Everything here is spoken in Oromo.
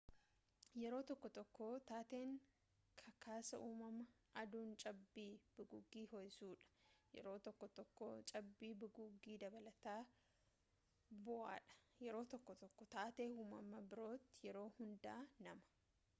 yerooo tokko tokko taateen kakaasaa uumamaa aduun cabbii bugugii ho'isuudha yeroo tokko tokko cabbii bugugii dabalataa bu'udha yeroo tokko tokko taatee uumamaa birooti yeroo hundaa nama